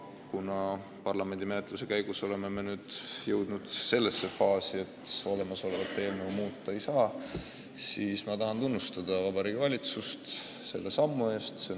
Kuna me oleme parlamendi menetluse käigus jõudnud sellisesse faasi, et olemasolevat eelnõu enam muuta ei saa, siis ma tahan Vabariigi Valitsust tunnustada selle sammu eest.